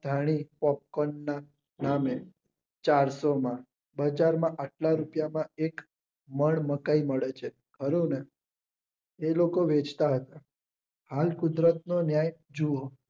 ધાણી પેસકોનમાં મળે ચારસોમાં બજારમાં આટલા રૂપિયા માં એક મલમકર મળે છે. હવેને એ લોકો વેંચતા હતા હાલ કુદરતનો ન્યાય જુઓ